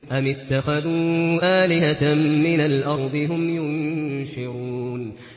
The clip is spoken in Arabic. أَمِ اتَّخَذُوا آلِهَةً مِّنَ الْأَرْضِ هُمْ يُنشِرُونَ